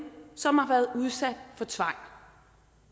som har været udsat for tvang